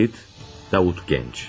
Kayıt, Davut Genç.